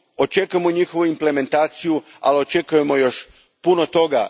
Očekujemo njihovu implementaciju, ali očekujemo još puno toga.